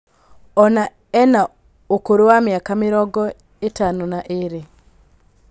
Ona ena ũkũrũ wa mĩaka mĩrongo ĩtano na ĩrĩ